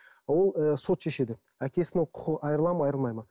ол ы сот шешеді әкесінің құқығы айырылады ма айырылмайды ма